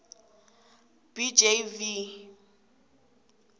b j v